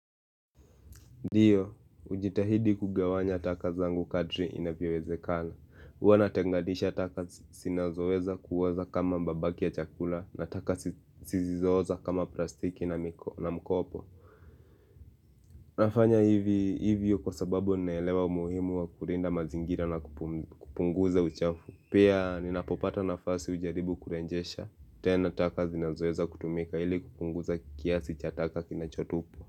Ndiyo, hujitahidi kugawanya taka zangu kadri inavyowezekana. Huwa natenganisha taka zinazoweza kuoza kama mabaki ya chakula na taka sizizooza kama plastiki na mkopo. Nafanya hivyo kwa sababu ninaelewa umuhimu wa kulinda mazingira na kupunguza uchafu. Pia ninapopata nafasi hujaribu kurenjesha. Tena taka zinazoweza kutumika ili kupunguza kiasi cha taka kinachotupwa.